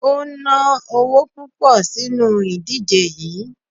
O ná owo púpọ̀ sínu ìdíje yií.